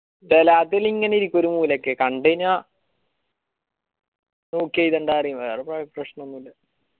ഇങ്ങനെ ഇരിക്കും ഒരു മൂലക്ക് കണ്ടയ്‌ന okay ഇതെന്താ ചോയിക്കും വേറെ പ്രശ്നോന്നൂല്യ